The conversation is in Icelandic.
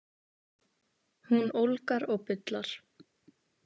Hún ólgar og bullar.